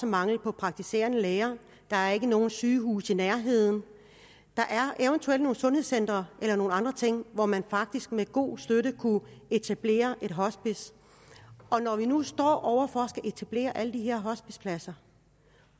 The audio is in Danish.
mangel på praktiserende læger der er ikke nogen sygehuse i nærheden der er eventuelt nogle sundhedscentre eller nogle andre ting hvor man faktisk med god støtte kunne etablere et hospice og når vi nu står over for at skulle etablere alle de her hospicepladser